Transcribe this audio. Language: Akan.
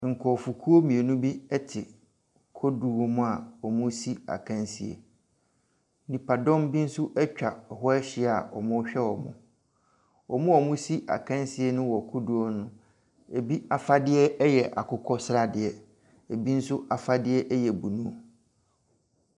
Nkrɔfokuo mmienu bi te kodoɔ mu a wɔresi akansie. Nnipadɔm bi nso atwa hɔ ahyia a wɔrehwɛ wɔn. Wɔn a wɔresi akansie no wɔ kodoɔ no mu. Ebi akokɔsradeɛ. Ebi nso afadeɛ blue.